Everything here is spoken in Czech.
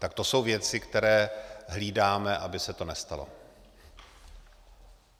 Tak to jsou věci, které hlídáme, aby se to nestalo.